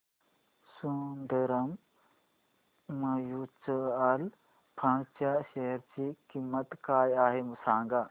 Sundaram mutual fund च्या share ची किंमत काय आहे सांगा